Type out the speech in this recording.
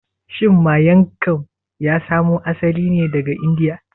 Shin Miang kam ya samo asali ne daga Indiya?